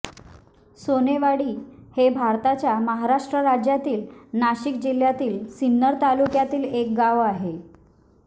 सोनेवाडी हे भारताच्या महाराष्ट्र राज्यातील नाशिक जिल्ह्यातील सिन्नर तालुक्यातील एक गाव आहे